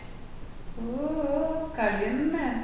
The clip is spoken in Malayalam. ഓഹ് ഓഹ് കളി തന്നേ